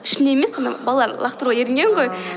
ішінде емес ана балалар лақтыруға ерінген ғой ааа